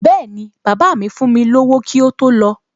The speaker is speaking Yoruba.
Bẹ́ẹ̀ni, bàbá míì fún mi lówó kí ó tó lọ